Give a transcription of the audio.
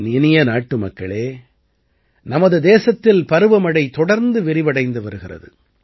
என் இனிய நாட்டுமக்களே நமது தேசத்திலே பருவமழை தொடர்ந்து விரிவடைந்து வருகிறது